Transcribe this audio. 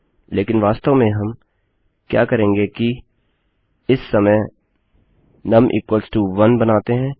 लेकिन वास्तव में हम क्या करेंगे कि इस समय नुम 1 बनाते हैं